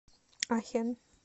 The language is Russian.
ахен